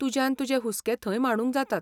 तुज्यान तुजे हुस्के थंय मांडूंक जातात.